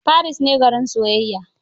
Paris ne garin soyayya.